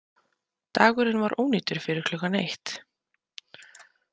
Dagurinn var ónýtur fyrir klukkan eitt.